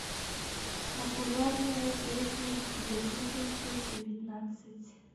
популярные песни две тысячи девятнадцать